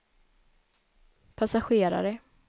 passagerare